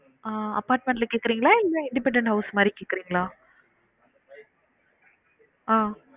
ஆஹ் apartment ல கேக்குறீங்களா? இல்ல independent house மாறி கேக்குறீங்களா? ஆஹ்